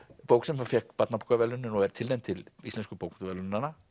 bók sem fékk barnabókaverðlaunin og er tilnefnd til Íslensku bókmenntaverðlaunanna